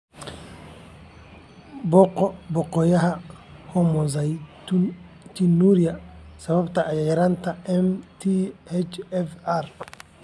Booqo boggayaga "Homocystinuria sababtoo ah yaraanta MTHFR".